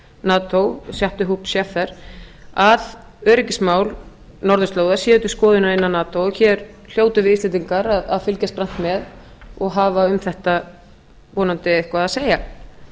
nato jaap de hoop scheffer að öryggismál norðurslóða séu til skoðunar innan nato og hér hljótum við íslendingar að fylgjast grannt með og hafa um þetta vonandi eitthvað að segja síðast